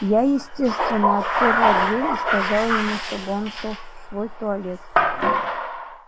я естественно отперла дверь и сказала ему чтобы он шёл в свой туалет